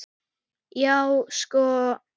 Já, sko!